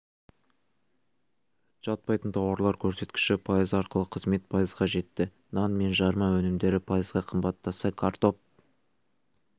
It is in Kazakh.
жатпайтын тауарлар көрсеткіші пайыз ақылы қызмет пайызға жетті нан мен жарма өнімдері пайызға қымбаттаса картоп